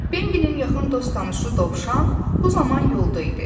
Bambinin yaxın dost-tanışı dovşan bu zaman yolda idi.